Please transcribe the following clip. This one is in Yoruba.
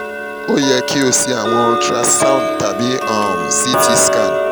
o yẹ ki o ṣe awọn ultrasound tabi um ct scan